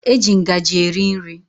E ji ngaji eri nri.